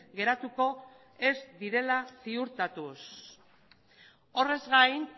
geratuko ez direla ziurtatuz horrez gain